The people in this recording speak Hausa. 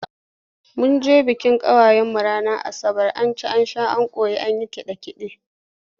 Mun je bikin kawarmu ranar Asabar, an ci an ƙoshi an yi kaɗe-kaɗe.